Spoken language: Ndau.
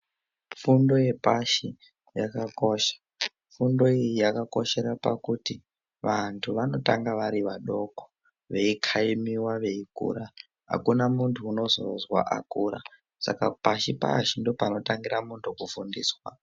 Fundo yepashi yakakosha, fundo iyi yakakoshera pakuti vantu vanotanga vari vadoko veikaimiwa veikura, akuna muntu unozozwa akura saka pashi pashi ndopanotangira muntu kufundiswa.